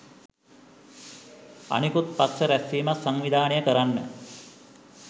අනෙකුත් පක්ෂ රැස්වීමක් සංවිධානය කරන්න